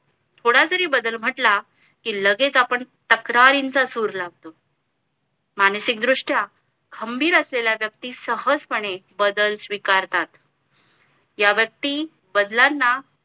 थोडा जरी बदल म्हटला कि लगेच आपण तक्रारींचा सूर लावतो मानसिक दृष्ट्या खंबीर असलेला व्यक्ती सहज पणे बदल स्वीकारतात ह्या व्यक्ती बदलांना